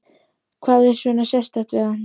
Magnús: Hvað er svona sérstakt við hann?